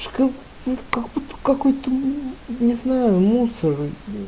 какой ты не знаю мусор